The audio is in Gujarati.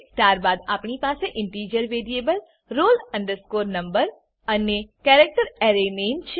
ત્યારબાદ આપણી પાસે ઇન્ટીજર વેરીએબલ roll no અને કેરેક્ટર અરે નામે છે